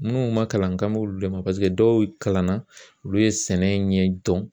Minnu ma kalan n k'an b'olu de ma paseke dɔw kalanna olu ye sɛnɛ in ɲɛ dɔn .